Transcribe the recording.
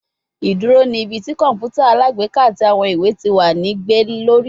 Iduro ni ibi ti kọǹpútà alágbèéká ati awọn iwe ti wa ni gbe lori